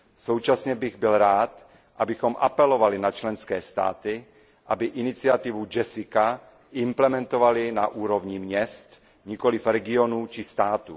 Současně bych byl rád, abychom apelovali na členské státy, aby iniciativu JESSICA implementovaly na úrovni měst, nikoliv regionů či států.